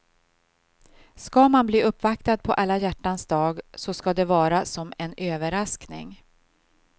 Ska man bli uppvaktad på alla hjärtans dag så ska det vara som en överraskning.